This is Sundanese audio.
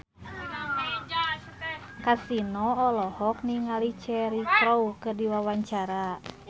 Kasino olohok ningali Cheryl Crow keur diwawancara